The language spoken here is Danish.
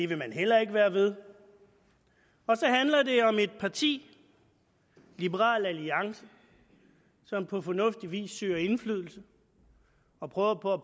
vil man heller ikke være ved så handler det om et parti liberal alliance som på fornuftig vis søger indflydelse og prøver på at